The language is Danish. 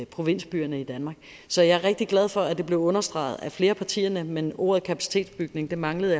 provinsbyerne i danmark så jeg er rigtig glad for at det blev understreget af flere af partierne men ordet kapacitetsstyring manglede